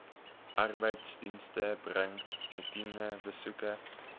arbeidsdienste bring roetinebesoeke